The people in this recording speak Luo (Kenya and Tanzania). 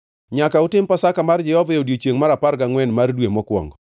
“ ‘Nyaka utim Pasaka mar Jehova Nyasaye e odiechiengʼ mar apar gangʼwen mar dwe mokwongo.